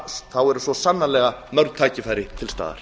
þá eru svo sannarlega mörg tækifæri til staðar